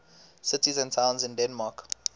cities and towns in denmark